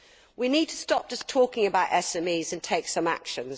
We need to stop just talking about SMEs, and take some action.